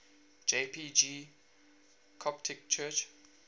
jpg coptic church